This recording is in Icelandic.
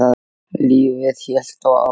Lífið hélt þó áfram.